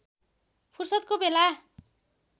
फुर्सदको बेला